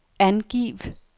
angiv